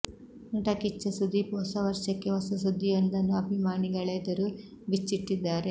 ನಟ ಕಿಚ್ಚ ಸುದೀಪ್ ಹೊಸ ವರ್ಷಕ್ಕೆ ಹೊಸ ಸುದ್ದಿಯೊಂದನ್ನು ಅಭಿಮಾನಿಗಳೆದುರು ಬಿಚ್ಚಿಟ್ಟಿದ್ದಾರೆ